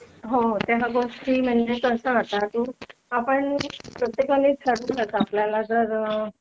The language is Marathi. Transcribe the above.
हो हो त्या गोष्टी अशा आहेत ना प्रत्येकाने ठरवून जर चांगल्या हवेमध्ये राहायचे